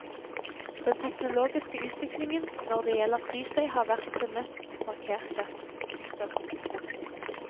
Den teknologiske utviklingen når det gjelder flystøy har vært den mest markerte. punktum